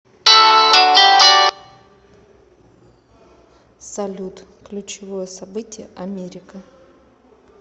салют ключевое событие америка